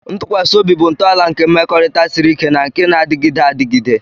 Ntụkwasị obi bụ ntọala nke mmekọrịta siri ike na nke na-adịgide adịgide.